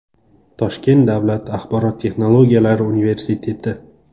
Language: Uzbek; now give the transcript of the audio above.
Toshkent davlat axborot texnologiyalari universiteti.